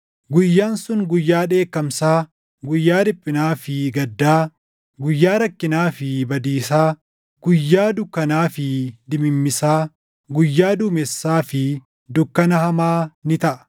Guyyaan sun guyyaa dheekkamsaa, guyyaa dhiphinaa fi gaddaa, guyyaa rakkinaa fi badiisaa, guyyaa dukkanaa fi dimimmisaa, guyyaa duumessaa fi dukkana hamaa ni taʼa;